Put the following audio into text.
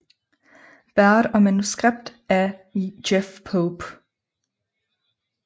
Baird og manuskript af Jeff Pope